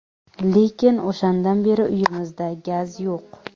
Lekin o‘shandan beri uyimizda gaz yo‘q.